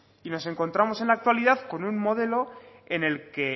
nos encontramos en la actualidad con un modelo en el que